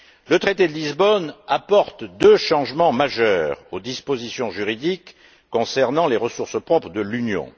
Le traité de Lisbonne apporte deux changements majeurs aux dispositions juridiques concernant les ressources propres de l'Union.